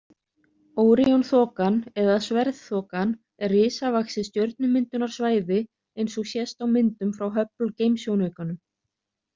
Óríonþokan eða Sverðþokan er risavaxið stjörnumyndunarsvæði eins og sést á myndum frá Hubble-geimsjónaukanum.